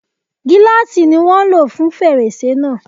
Gíláàsì ni wọ́n ń lò fún fèrèsé náà.